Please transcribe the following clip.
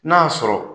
N'a y'a sɔrɔ